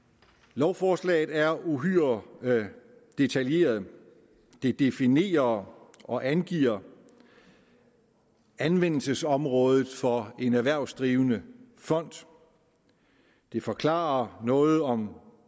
lovforslaget er uhyre detaljeret det definerer og angiver anvendelsesområdet for en erhvervsdrivende fond det forklarer noget om